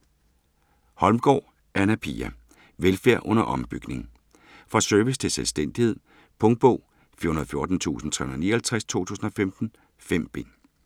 Holmgaard, Anna Pia: Velfærd under ombygning Fra service til selvstændighed. Punktbog 414359 2015. 5 bind.